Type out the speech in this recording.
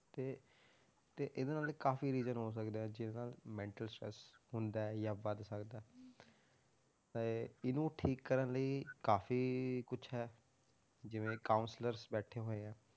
ਤੇ ਤੇ ਇਹਦੇ ਨਾਲ ਕਾਫ਼ੀ reason ਹੋ ਸਕਦੇ ਹੈ ਜਿਹਦੇ ਨਾਲ mental stress ਹੁੰਦਾ ਹੈ ਜਾਂ ਵੱਧ ਸਕਦਾ ਹੈ ਤਾਂ ਇਹ ਇਹਨੂੰ ਠੀਕ ਕਰਨ ਲਈ ਕਾਫ਼ੀ ਕੁਛ ਹੈ ਜਿਵੇਂ counsellors ਬੈਠੇ ਹੋਏ ਹੈ,